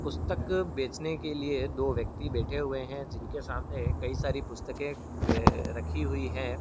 पुस्तक बेचने के लिए दो व्यक्ति बैठे हुए है। जिनके सामने कई सारी पुस्तके बे रखी हुई हैं।